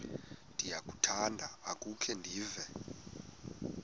ndiyakuthanda ukukhe ndive